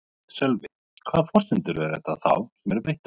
Sölvi: Hvaða forsendur eru þetta þá sem eru breyttar?